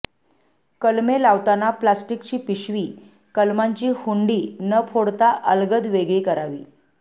कलमे लावताना प्लॅस्टिकची पिशवी कलमांची हुंडी न फोडता अलगद वेगळी करावी